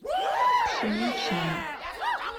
пшеничному